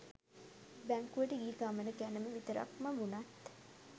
බැංකුවට ගිය ගමන ගැනම විතරක්ම වුණත්